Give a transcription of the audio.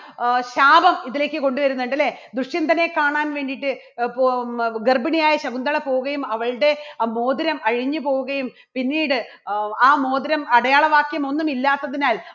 അഹ് ശാപം ഇതിലേക്ക് കൊണ്ടുവരുന്നുണ്ട് അല്ലേ? ദുഷ്യന്തനെ കാണാൻ വേണ്ടിയിട്ട് ഗർഭിണിയായ ശകുന്തള പോവുകയും അവളുടെ ആ മോതിരം അഴിഞ്ഞു പോവുകയും, പിന്നീട് ആ മോതിരം അടയാള വാക്യം ഒന്നുമില്ലാത്തതിനാൽ